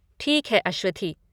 ठीक है अश्वथी।